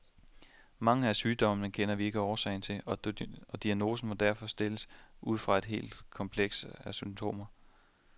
Mange af sygdommene kender vi ikke årsagen til, og diagnosen må derfor stilles ud fra et helt kompleks af symptomer.